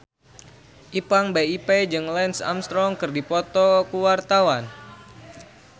Ipank BIP jeung Lance Armstrong keur dipoto ku wartawan